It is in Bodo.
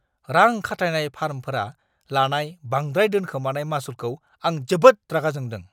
रां-खाथायनाय फार्मफोरा लानाय बांद्राय दोनखोमानाय मासुलखौ आं जोबोद रागा जोंदों!